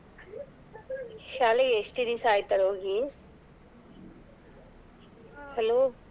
ಶಾಲೆ ಎಷ್ಟು ದಿವಸ ಆಯ್ತು ಹೋಗಿ hello .